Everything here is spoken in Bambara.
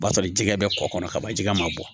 O b'a sɔrɔ jikɛ bɛ kɔkɔ kɔnɔ ka ban jɛgɛ ma bɔ